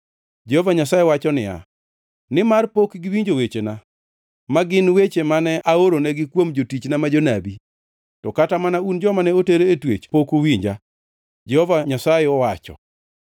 Jehova Nyasaye wacho niya, “Nimar pok giwinjo wechena, ma gin weche mane aoronegi kuom jotichna ma jonabi. To kata mana un joma ne oter e twech pok uwinja,” Jehova Nyasaye owacho.